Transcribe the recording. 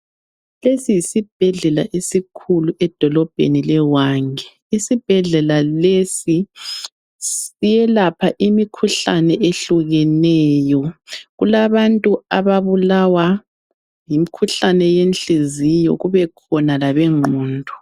Lesi yisibhedlela esikhulu edolobheni leHwange. Isibhedlela lesi siyelapha imikhuhlane ehlukeneyo. Kulabantu ababulawa yimkhuhlane yenhliziyo kubekhona labengqondo.